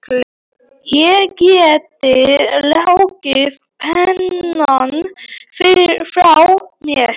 Ég gæti lagt pennann frá mér.